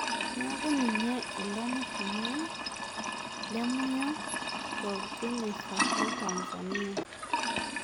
Niaku ninye ilo ormushumaa lemunyo toljenesa letanzania